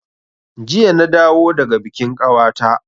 Jiya na dawo daga bikin kawata